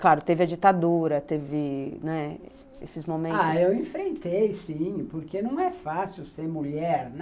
Claro, teve a ditadura, teve, né, esses momentos... Ah, eu enfrentei, sim, porque não é fácil ser mulher, né.